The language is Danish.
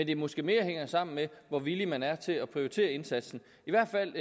det måske mere hænger sammen med hvor villig man er til at prioritere indsatsen i hvert fald